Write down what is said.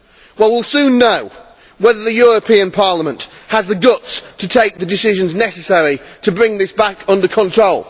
Well we will soon know whether the European Parliament has the guts to take the decisions necessary to bring this back under control.